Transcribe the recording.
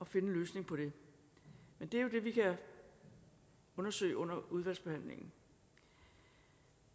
finde en løsning på det er jo det vi kan undersøge under udvalgsbehandlingen